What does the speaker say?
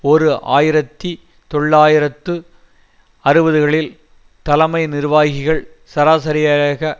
ஓரு ஆயிரத்தி தொள்ளாயிரத்து அறுபதுகளில் தலைமை நிர்வாகிகள் சராசரியாக